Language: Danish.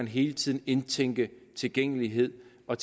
hele tiden indtænkes tilgængelighed og